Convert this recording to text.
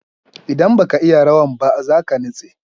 Indan baka iya rawan ba zaka nitse